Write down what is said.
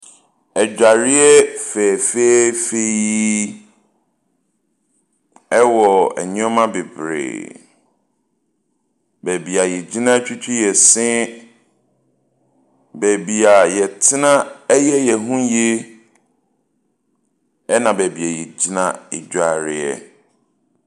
Adwareɛ fɛfɛɛfɛ yi. Ɛwɔ nneɛma bebree. Baabi a yɛgyina twitwi yɛ se. Baabi a yɛtena yɛ yɛn ho yie. Ɛna baabi a yɛgyina dware.